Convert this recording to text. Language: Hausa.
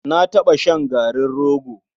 Na taɓa shan garin rogo.